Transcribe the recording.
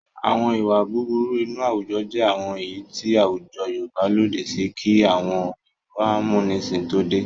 Àwọn ìwà búburú inú àwùjọ jẹ́ àwọn èyí tí àwùjọ Yorùbá lòdì sí kí àwọn òyìnbó amúnisìn tó dé.